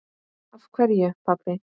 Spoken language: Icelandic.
Af hverju, pabbi?